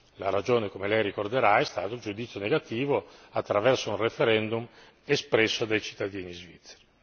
La ragione come Lei ricorderà è stato il giudizio negativo attraverso un referendum espresso dai cittadini svizzeri.